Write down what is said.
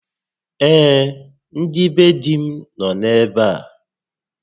Ee, ndị be dí m nọ ebe a